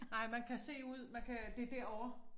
Nej man kan se ud man kan det derovre